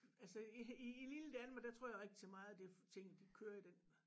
Altså i i lille Danmark der tror jeg rigtig meget det tingene de kører den